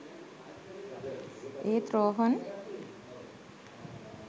ඒත් රෝහන්